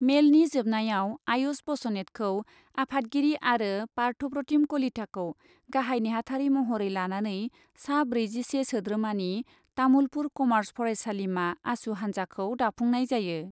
मेलनि जोबनायाव आयुष बसनेतखौ आफादगिरि आरो पार्थप्रतिम कलिताखौ गाहाइ नेहाथारि महरै लानानै सा ब्रैजिसे सोद्रोमानि तामुलपुर कमार्च फरायसालिमा आसु हान्जाखौ दाफुंनाय जायो।